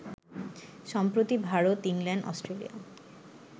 সম্প্রতি Bharat, England, Australia